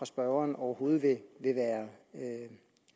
spørgeren overhovedet vil være